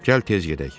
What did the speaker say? Gəl tez gedək.